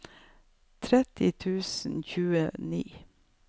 tretti tusen og tjueni